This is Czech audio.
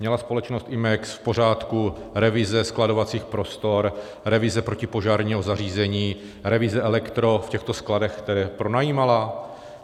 Měla společnost Imex v pořádku revize skladovacích prostor, revize protipožárního zařízení, revize elektro v těchto skladech, které pronajímala?